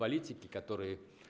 политики которые